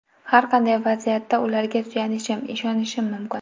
Har qanday vaziyatda ularga suyanishim, ishonishim mumkin.